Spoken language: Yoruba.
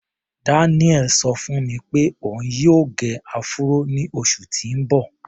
Daniel ṣọ fún mi pé òun yóò gẹ áfúró ní oṣù tí ń bọ̀.